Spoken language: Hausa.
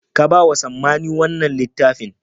Ka ba wa Sammani wanna littafin.